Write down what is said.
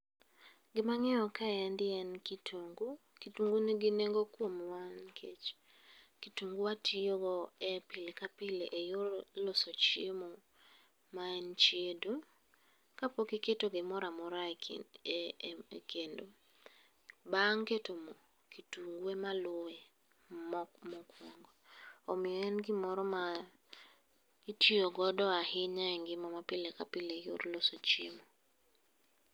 Gima angeyo kaendi en kitungu, kitungu nigi nengo kuomwa nikech kitungu watiyo go e pile ka pile e yor loso chiemo maen chiedo. Kapok iketo gimoro amora e kendo bang keto moo kitungu ema luwe, omiyo en gimoro ma itiyo godo ahinya engima ma pile ka pile eyor loso chiemo